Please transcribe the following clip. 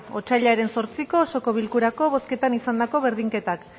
otsailaren zortziko osoko bilkurako bozketan izandako berdinketak